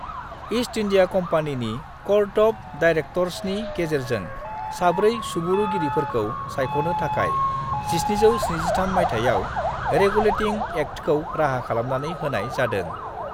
East India कम्पानीनि court of डायरेक्टर्सनि गेजेरजों साब्रै सुबुरुगिरिफोरखौ सायख'नो थाखाय 1773 मायथाइयाव रेगुलेटिं एक्टखौ राहा खालामनानै होनाय जादों।